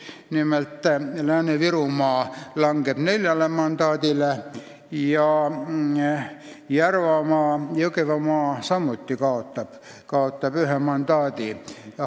Nimelt, Lääne-Virumaa mandaatide arv langeb neljale ning Jõgevamaa samuti kaotab ühe mandaadi.